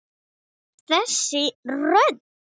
Þessi rödd!